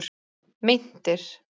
Meintir